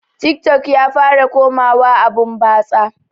Tik tok ya fara komawa abun batsa